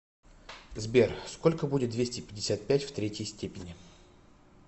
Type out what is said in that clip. сбер сколько будет двести пятьдесят пять в третьей степени